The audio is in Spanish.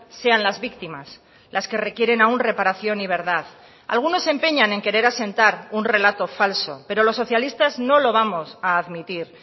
sean las víctimas las que requieren aun reparación y verdad algunos se empeñan en querer asentar un relato falso pero los socialistas no lo vamos a admitir